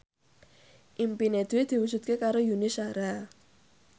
impine Dwi diwujudke karo Yuni Shara